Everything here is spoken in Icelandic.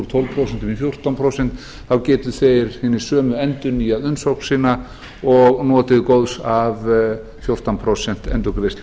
tólf prósent í fjórtán prósent þá geta þeir hinir sömu endurnýjað umsókn sína og notið góðs af fjórtán prósent endurgreiðslu